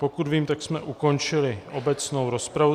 Pokud vím, tak jsme ukončili obecnou rozpravu.